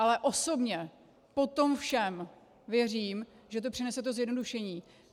Ale osobně po tom všem věřím, že to přinese to zjednodušení.